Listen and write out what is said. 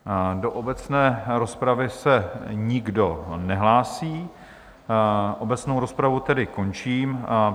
Do obecné rozpravy se nikdo nehlásí, obecnou rozpravu tedy končím.